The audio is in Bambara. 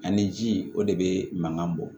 Ani ji o de bɛ mankan bɔ